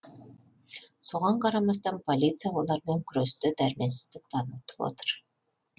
соған қарамастан полиция олармен күресте дәрменсіздік танытып отыр